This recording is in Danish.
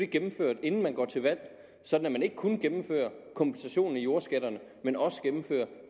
gennemført inden man går til valg sådan at man ikke kun gennemfører kompensationen i jordskatterne men også gennemfører